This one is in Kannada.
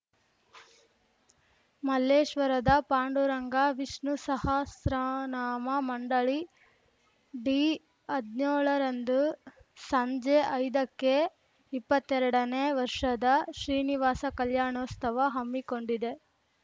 ಮಲ್ಲೇಶ್ವರದ ಪಾಂಡುರಂಗ ವಿಷ್ಣುಸಹಸ್ರನಾಮ ಮಂಡಳಿ ಡಿಹದ್ನ್ಯೋಳರಂದು ಸಂಜೆ ಐದಕ್ಕೆ ಇಪ್ಪತ್ತೆರಡನೇ ವರ್ಷದ ಶ್ರೀನಿವಾಸ ಕಲ್ಯಾಣೋಸ್ತವ ಹಮ್ಮಿಕೊಂಡಿದೆ